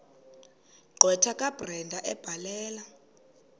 gqwetha kabrenda ebhalela